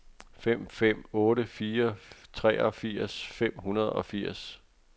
fem fem otte fire treogfirs fem hundrede og firs